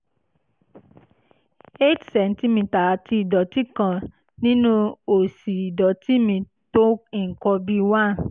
eight centimetre àti ìdọ̀tí kan nínú òsì ìdọ̀tí mi tó nǹkan bíi one